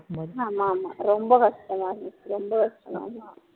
ஆமா ஆமா ரொம்ப கஷ்டமா இருந்துச்சு ரொம்ப கஷ்டமா இருந்துச்சு